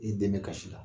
I dɛmɛ kasi la